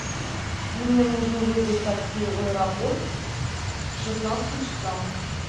мне нужно вызвать такси в аэропорт к шестнадцати часам